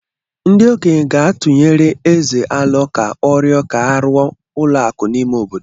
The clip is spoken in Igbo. Ndị okenye ga-atụnyere Ézè alo ka ọrịọ ka e arụọ ụlọakụ n'ime obodo.